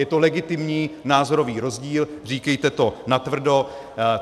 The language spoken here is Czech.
Je to legitimní názorový rozdíl, říkejte to natvrdo.